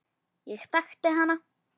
Ég þekkti hana.